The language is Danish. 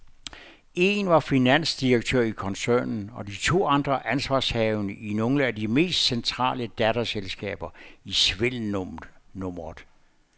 En var finansdirektør i koncernen, og de to andre ansvarshavende i nogle af de mest centrale datterselskaber i svindelnummeret.